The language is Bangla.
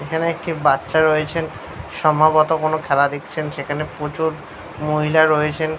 এখানে একটি বাচ্চা রয়েছেন সম্ভবত কোনো খেলা দেখছেন সেখানে প্রচুর মহিলা রয়েছেন।